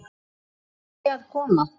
Lárusi að koma.